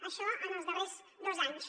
això en els darrers dos anys